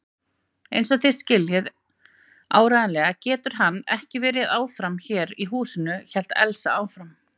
Einsog þið skiljið áreiðanlega getur hann ekki verið áfram hérna í húsinu hélt Elsa áfram.